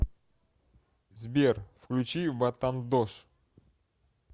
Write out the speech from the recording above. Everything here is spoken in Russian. сбер включи ватандош